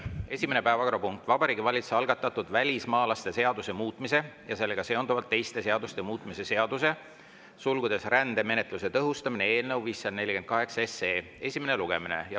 Esimene päevakorrapunkt: Vabariigi Valitsuse algatatud välismaalaste seaduse muutmise ja sellega seonduvalt teiste seaduste muutmise seaduse eelnõu 548 esimene lugemine.